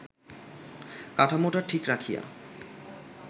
কাঠামোটা ঠিক রাখিয়া